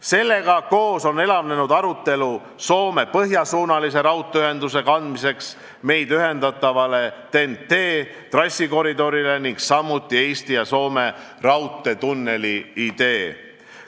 Sellega koos on elavnenud arutelu Soome põhjasuunalise raudteeühenduse kandmiseks meid ühendavasse TEN-T trassikoridori, samuti Eesti–Soome raudteetunneli idee.